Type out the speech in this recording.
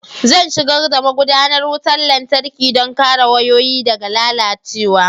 Zan shigar da magudanar wutar lantarki don kare wayoyi daga lalacewa